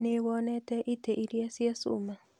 Nĩ wonete itĩ iria cia cuma?